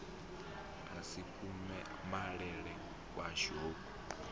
a si kumalele kuswa hu